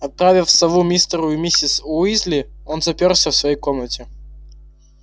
отправив сову мистеру и миссис уизли он заперся в своей комнате